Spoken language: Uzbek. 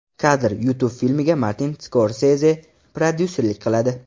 Kadr: YouTube Filmga Martin Skorseze prodyuserlik qiladi.